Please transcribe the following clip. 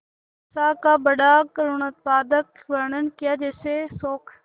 दशा का बड़ा करूणोत्पादक वर्णन कियाकैसे शोक